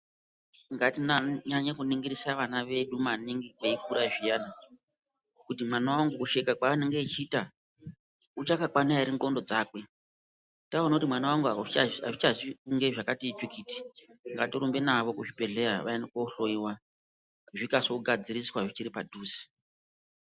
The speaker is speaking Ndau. Ngatinyanye kuningirisa vana vedu maningi veikura zviyani, kuti mwana wangu kusheka kwanonga achiita uchakakwana ere ndxondo dzakwe. Taona kuti mwana wangu hazvichazi kunge zvakati tsvikiti ngatirumbe navo kuchibhedhlera vaende kohloyiwa zvikase kugadziriswa zviripadhuze.